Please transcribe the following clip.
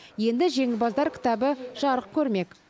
енді жеңімпаздар кітабы жарық көрмек